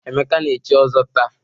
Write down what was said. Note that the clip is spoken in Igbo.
Emeka na-echi ọzọ taa.